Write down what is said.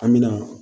An bɛna